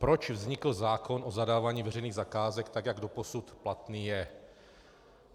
Proč vznikl zákon o zadávání veřejných zakázek, tak jak doposud platný je.